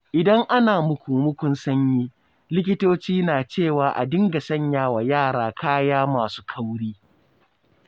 Idan ana muku-mukun sanyi, likitoci na cewa a dinga sanya wa yara kaya masu kauri